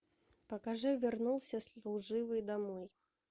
покажи вернулся служивый домой